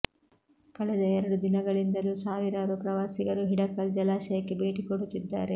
ಕಳೆದ ಎರಡು ದಿನಗಳಿಂದಲೂ ಸಾವಿರಾರು ಪ್ರವಾಸಿಗರು ಹಿಡಕಲ್ ಜಲಾಶಯಕ್ಕೆ ಬೇಟಿ ಕೊಡುತ್ತಿದ್ದಾರೆ